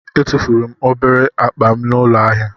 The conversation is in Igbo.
Etufuru m obere akpa m n'ụlọ ahịa.